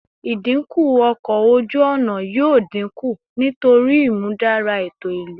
Idinku ọkọ oju-ọna yoo dinku nitori imudara eto ilu